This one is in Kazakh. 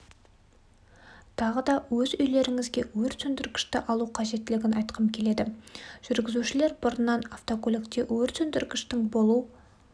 тағы да өз үйлеріңізге өрт сөндіргішті алу қажеттілігін айтқым келеді жүргізушілер бұрыннан автокөлікте өрт сөндіргіштің болу